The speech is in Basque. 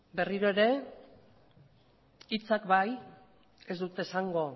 berriro ere hitzak bai ez dut esango